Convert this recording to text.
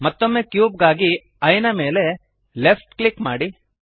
ಮತ್ತೊಮ್ಮೆ ಕ್ಯೂಬ್ ಗಾಗಿ ಈಯೆ ದ ಮೇಲೆ ಲೆಫ್ಟ್ ಕ್ಲಿಕ್ ಮಾಡಿರಿ